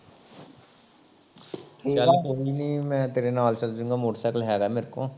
ਚੱਲ ਕੋਈ ਨਹੀ ਮੈਂ ਤੇਰੇ ਨਾਲ ਚੱਲ ਜਊਗਾਂ ਮੋਟਰਸਾਈਕਲ ਹੈਗਾ ਮੋਰੇ ਕੋਲ